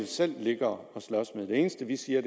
selv ligge og slås med det eneste vi siger